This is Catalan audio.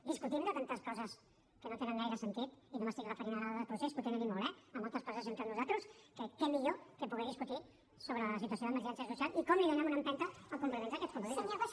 discutim de tantes coses que no tenen gaire sentit i no m’estic referint ara al procés que en té i molt eh i moltes coses entre nosaltres que què millor que poder discutir sobre la situació d’emergència social i com donem una empenta als compliments d’aquests compromisos